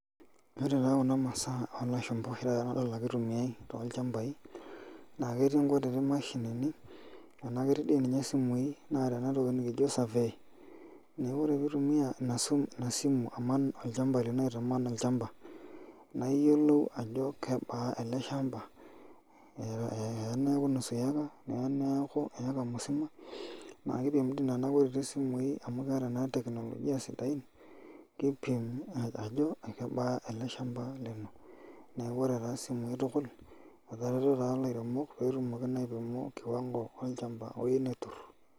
Ore taa kuna masaa oolashumba nadol ake itumiyai tolchambai naa ketii nkutitik mashinini naa ketii doi ninye isimui naata ena toki naji survey, neeku ore pee itumia ina simu aman olchamba lino nilo aitaman olchamba niyiolou ajo kebaa olchamba eya neeku nusu eka eya neeku eka musima naa kiidim doi nena kutitik simui amu keeta teknolojia sidain naa kiipim neyiolou ajo kebaa ele shamba lino , neeku ore taa simui tukul etareto taa ilaremok amu kiwango olchamba eyieu neturr.